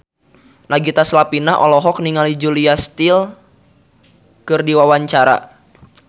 Nagita Slavina olohok ningali Julia Stiles keur diwawancara